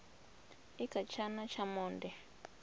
i kha tshana tsha monde